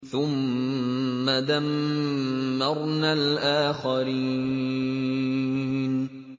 ثُمَّ دَمَّرْنَا الْآخَرِينَ